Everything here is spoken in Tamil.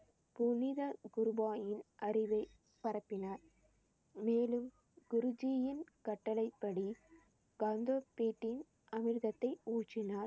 புனித அறிவை பரப்பினார். மேலும் குருஜியின் கட்டளைப்படி அமிர்தத்தை ஊற்றினார்.